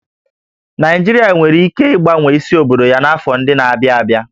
Naịjirịa nwere ike ịgbanwe isi obodo ya n'afọ ndị na-abịa abịa